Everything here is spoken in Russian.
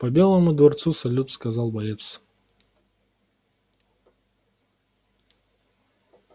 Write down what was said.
по белому дворцу салют сказал боец